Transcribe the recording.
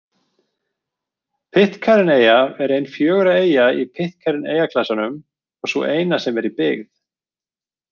Pitcairn-eyja er ein fjögurra eyja í Pitcairn-eyjaklasanum og sú eina sem er í byggð.